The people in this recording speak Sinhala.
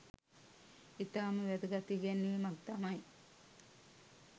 ඉතාම වැදගත් ඉගැන්වීමක් තමයි